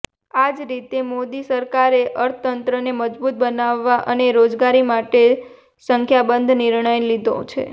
આ જ રીતે મોદી સરકારે અર્થતંત્રને મજબૂત બનાવવા અને રોજગારી માટેના સંખ્યાબંધ નિર્ણયો લીધા છે